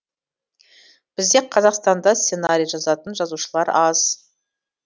бізде қазақстанда сценарий жазатын жазушылар аз